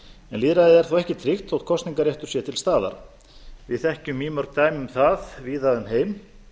lýðræði er þó ekki tryggt þótt kosningarréttur sé til staðar við þekkjum mýmörg dæmi um það víða um heim